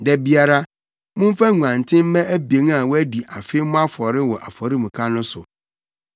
“Da biara, momfa nguanten mma abien a wɔadi afe mmɔ afɔre wɔ afɔremuka no so.